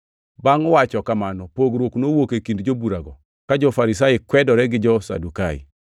Bangʼ wacho kamano, pogruok nowuok e kind joburago, ka jo-Farisai kwedore gi jo-Sadukai.